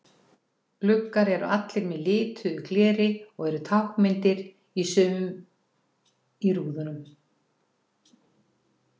Gluggar eru allir með lituðu gleri og eru táknmyndir í sumum í rúðum.